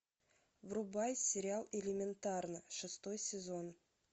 врубай сериал элементарно шестой сезон